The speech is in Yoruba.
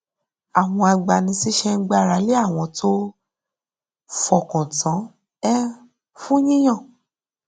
àwọn agbanisíṣẹ ń gbára lé àwọn tó fọkàn tán um fún yíyan